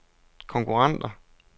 konkurrenter